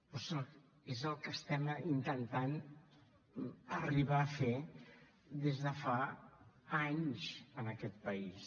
però és clar és el que estem intentant arribar a fer des de fa anys en aquest país